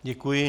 Děkuji.